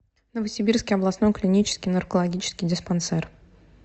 новосибирский областной клинический наркологический диспансер